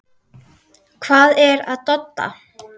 Hvað er að Dodda?